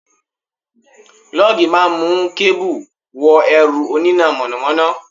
Lọ́gì máa ń mú kẹ́bù wọ ẹ̀rọ oníná mọ̀nàmọ́ná.